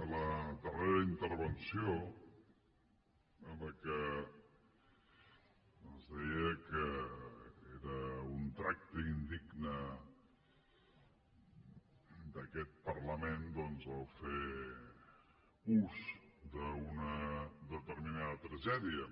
a la darrera intervenció en què ens deia que era un tracte indigne d’aquest parlament doncs fer ús d’una determinada tragèdia